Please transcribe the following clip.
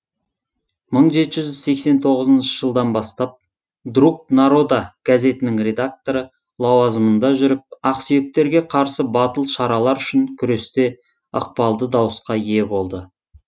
мың жеті жүз сексен тоғызыншы жылдан бастап друг народа газетінің редакторы лауазымында жүріп ақсүйектерге қарсы батыл шаралар үшін күресте ықпалды дауысқа ие болды